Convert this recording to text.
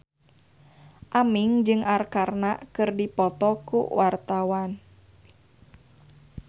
Aming jeung Arkarna keur dipoto ku wartawan